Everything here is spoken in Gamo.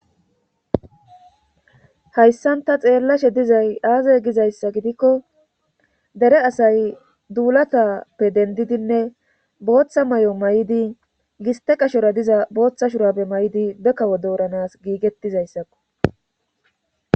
hayssanta xeellashe dizay aaza gizayssa gidikko dere asay duulatappe dendidinne booththa may7o may7di giste qashora diza booththa shurabe may7di be kawo dooranas giigettizayssakko